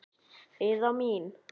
Heiða mín.